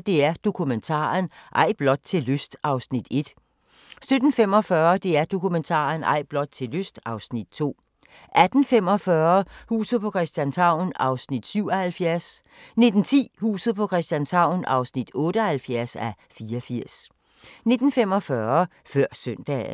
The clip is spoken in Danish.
DR Dokumentaren – Ej blot til lyst (Afs. 1) 17:45: DR Dokumentaren – Ej blot til lyst (Afs. 2) 18:45: Huset på Christianshavn (77:84) 19:10: Huset på Christianshavn (78:84) 19:45: Før Søndagen